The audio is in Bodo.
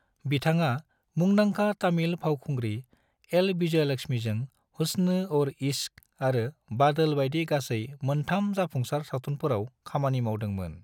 बिथाङा मुंदांखा तमिल फावखुंग्रि एल. विजयलक्ष्मीजों "हुस्न और इश्क" आरो "बादल" बाइदि गासै मोनथाम जाफुंसार सावथुनफोराव खामानि मावदों मोन ।